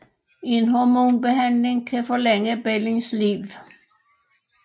En hormonbehandling kan forlænge barnets liv